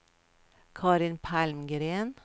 Carin Palmgren